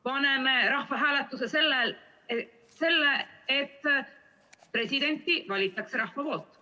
Paneme rahvahääletusele selle, et presidendi valib rahvas!